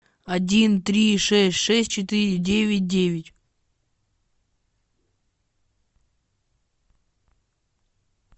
один три шесть шесть четыре девять девять